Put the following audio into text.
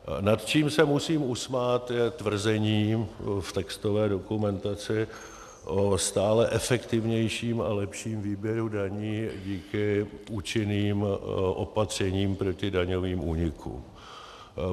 Nad čím se musím usmát, je tvrzení v textové dokumentaci o stále efektivnějším a lepším výběru daní díky účinným opatřením proti daňovým únikům.